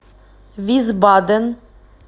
висбаден